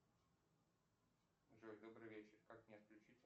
джой добрый вечер как мне отключить